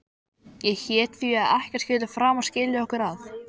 Ég hét því að ekkert skyldi framar skilja okkur að.